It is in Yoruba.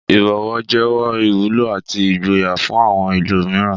Ìbọ̀wọ̀ jẹ́wọ́ ìwúlò àti ìgboyà fún àwọn ẹlòmíràn.